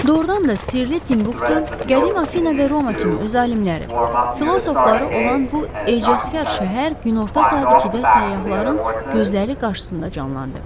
Doğrudan da sirli Timbuktu, qədim Afina və Roma kimi öz alimləri, filosofları olan bu ecazkar şəhər günorta saat ikidə səyyahların gözləri qarşısında canlandı.